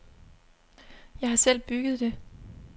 Jeg har selv bygget det.